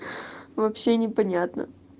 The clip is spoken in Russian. вообще непонятно